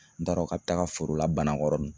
N t'a dɔn ka bɛ taa nga foro la Banakɔrɔni